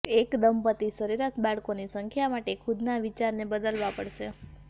એક દંપતિ સરેરાશ બાળકોની સંખ્યા માટે ખુદના વિચારને બદલવા પડશે